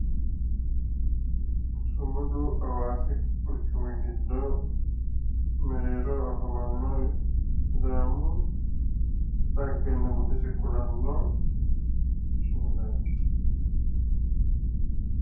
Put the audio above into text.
Sumudu hawaasi quchumi giddo mereeroho afamanno sidaamu dhaggenna budese kulanno sumudaati.